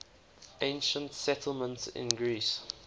ancient settlements in greece